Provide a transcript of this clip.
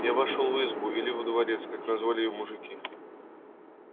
я вошёл в избу или во дворец как называли её мужики